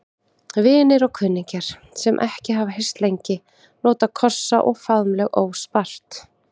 Vinir og kunningjar, sem ekki hafa hist lengi, nota kossa og faðmlög óspart.